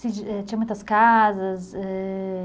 Tinha muitas casas? É...